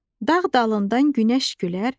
Dağ dalından günəş gülər,